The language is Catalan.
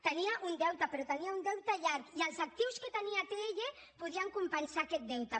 tenia un deute però tenia un deute llarg i els actius que tenia atll podien compensar aquest deute